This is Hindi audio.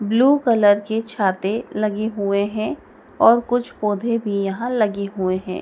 ब्लू कलर के छाते लगे हुए हैं और कुछ पौधे भी यहां लगे हुए हैं।